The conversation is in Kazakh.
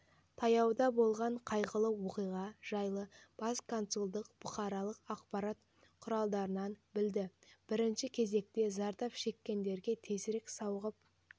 таяуда болған қайғылы оқиға жайлы бас консулдықбұқаралық ақпарат құралдарынан білді бірінші кезекте зардап шеккендерге тезірек сауығып